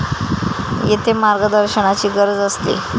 येथे मार्गदर्शनाची गरज असते.